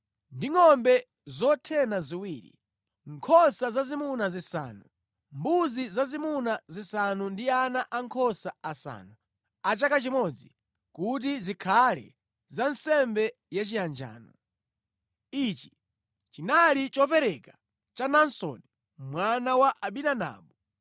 ndi ngʼombe zothena ziwiri, nkhosa zazimuna zisanu, mbuzi zazimuna zisanu ndi ana ankhosa asanu a chaka chimodzi kuti zikhale za nsembe yachiyanjano. Ichi chinali chopereka cha Naasoni mwana wa Aminadabu.